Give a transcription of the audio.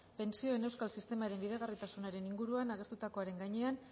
pentsioen euskal sistemaren bideragarritasunaren inguruan agertutakoaren gainean